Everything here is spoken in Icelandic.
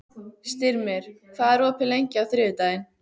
Styrmir, hvað er opið lengi á þriðjudaginn?